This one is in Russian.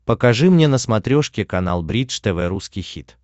покажи мне на смотрешке канал бридж тв русский хит